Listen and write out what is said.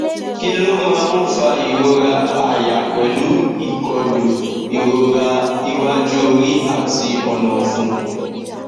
kí ló máa ń fa ìrora àyà pelu ikolu irora iwaju ori ati ona ọfun